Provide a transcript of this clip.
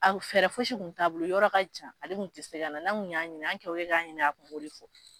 A kun fɛɛrɛ fosi tun t'a a bolo, yɔrɔ ka jan ale tun tɛ se ka na , anw kɛ o kɛ k'a ɲini ka kun b'o de fɔ.